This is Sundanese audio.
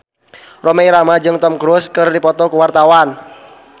Rhoma Irama jeung Tom Cruise keur dipoto ku wartawan